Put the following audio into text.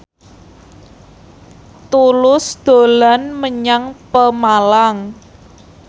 Tulus dolan menyang Pemalang